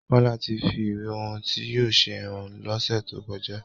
Kola tí fí ìwé ohùn tí yóò ṣe hàn l'onse to kọjá